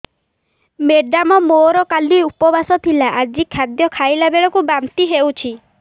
madam ମୋର କାଲି ଉପବାସ ଥିଲା ଆଜି ଖାଦ୍ୟ ଖାଇଲା ବେଳକୁ ବାନ୍ତି ହେଊଛି